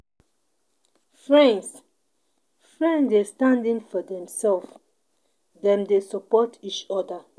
Friends Friends dey stand in for dem self, dem dey support each oda